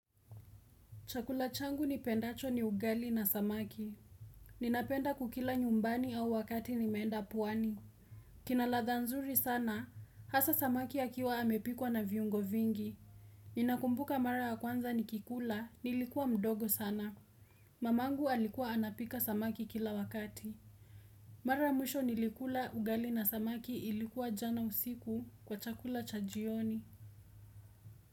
Chakula changu ni pendacho ni ugali na samaki. Ninapenda kukila nyumbani au wakati nimeenda pwani. Kinaladha nzuri sana, hasa samaki ya akiwa amepikwa na viungo vingi. Ninakumbuka mara ya kwanza nikikula, nilikua mdogo sana. Mamangu alikuwa anapika samaki kila wakati. Mara mwisho nilikula ugali na samaki ilikuwa jana usiku kwa chakula cha jioni.